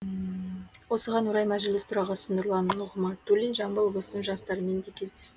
осыған орай мәжіліс төрағасы нұрлан нығматулин жамбыл облысының жастарымен де кездес